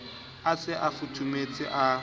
a se a futhumetse a